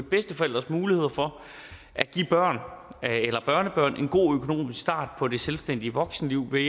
bedsteforældres muligheder for at give børn eller børnebørn en god økonomisk start på det selvstændige voksenliv ved